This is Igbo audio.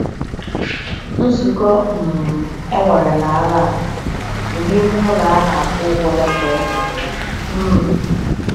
Nzukọ um enwere na Aranha bụ n'ime ụlọ ana akwụ ụgwọ ya ka emere ya. um